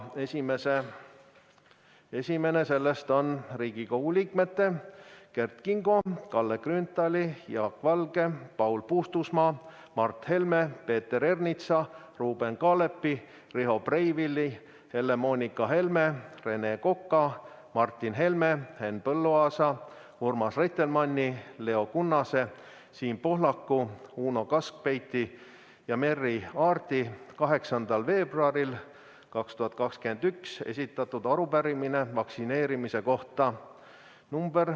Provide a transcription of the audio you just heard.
Esimene on Riigikogu liikmete Kert Kingo, Kalle Grünthali, Jaak Valge, Paul Puustusmaa, Mart Helme, Peeter Ernitsa, Ruuben Kaalepi, Riho Breiveli, Helle-Moonika Helme, Rene Koka, Martin Helme, Henn Põlluaasa, Urmas Reitelmanni, Leo Kunnase, Siim Pohlaku, Uno Kaskpeiti ja Merry Aarti 8. veebruaril 2021 esitatud arupärimine vaktsineerimise kohta .